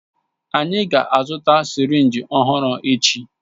Anyị ga-azụta sirinji ọhụrụ echi.